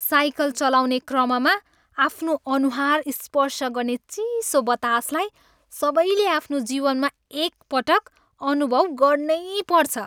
Cycle चलाउने क्रममा आफ्नो अनुहार स्पर्श गर्ने चिसो बतासलाई सबैले आफ्नो जीवनमा एकपटक अनुभव गर्नैपर्छ।